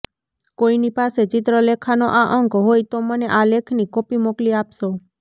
કોઈની પાસે ચિત્રલેખાનો આ અંક હોય તો મને આ લેખની કોપી મોકલી આપશો